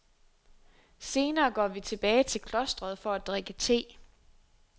Senere går vi tilbage til klostret for at drikke te.